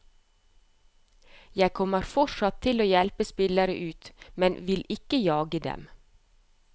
Jeg kommer fortsatt til å hjelpe spillere ut, men vil ikke jage dem.